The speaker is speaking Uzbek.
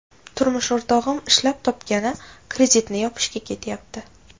Turmush o‘rtog‘im ishlab topgani kreditni yopishga ketyapti.